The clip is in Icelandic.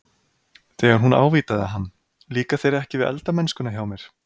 Þegar hún ávítaði hann- Líkar þér ekki við eldamennskuna hjá mér?